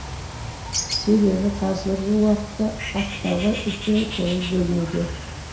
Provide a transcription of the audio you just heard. себебі қазіргі уақытта ақтауға үлкен көңіл бөлінуде